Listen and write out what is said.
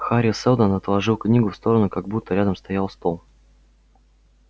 хари сэлдон отложил книгу в сторону как будто рядом стоял стол